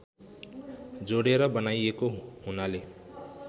जोडेर बनाइएको हुनाले